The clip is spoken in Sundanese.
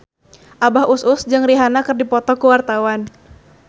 Abah Us Us jeung Rihanna keur dipoto ku wartawan